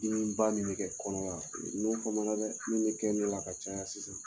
ba min bɛ kɛ kɔnɔ n n'o fama na dɛ min bɛ kɛ ne la ka caya sisan.